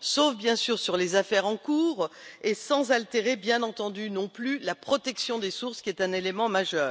sauf bien sûr sur les affaires en cours et sans altérer bien entendu non plus la protection des sources, qui est un élément majeur.